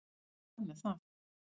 En hvað með það.